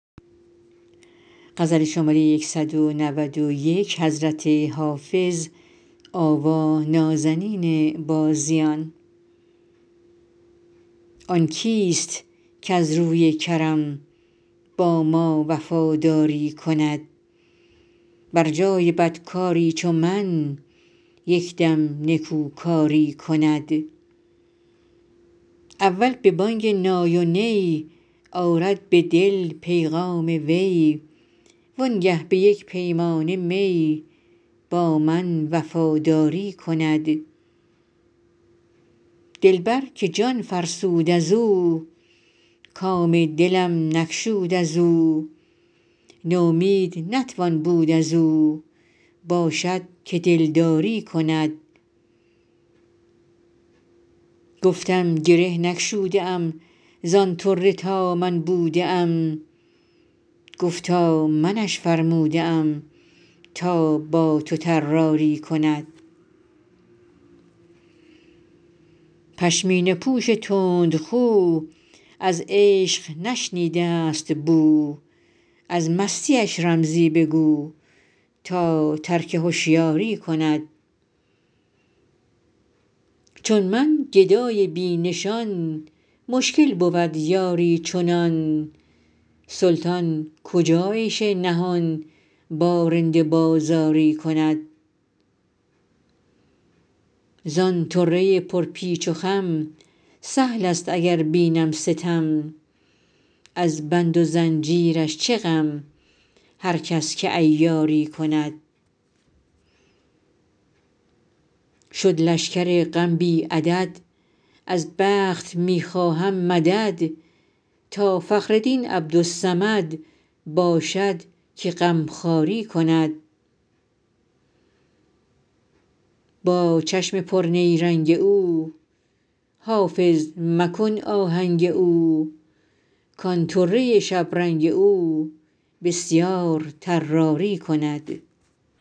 آن کیست کز روی کرم با ما وفاداری کند بر جای بدکاری چو من یک دم نکوکاری کند اول به بانگ نای و نی آرد به دل پیغام وی وانگه به یک پیمانه می با من وفاداری کند دلبر که جان فرسود از او کام دلم نگشود از او نومید نتوان بود از او باشد که دلداری کند گفتم گره نگشوده ام زان طره تا من بوده ام گفتا منش فرموده ام تا با تو طراری کند پشمینه پوش تندخو از عشق نشنیده است بو از مستیش رمزی بگو تا ترک هشیاری کند چون من گدای بی نشان مشکل بود یاری چنان سلطان کجا عیش نهان با رند بازاری کند زان طره پرپیچ و خم سهل است اگر بینم ستم از بند و زنجیرش چه غم هر کس که عیاری کند شد لشکر غم بی عدد از بخت می خواهم مدد تا فخر دین عبدالصمد باشد که غمخواری کند با چشم پرنیرنگ او حافظ مکن آهنگ او کان طره شبرنگ او بسیار طراری کند